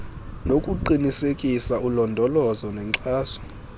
nokuqinisekisa ulondolozo nenkxaso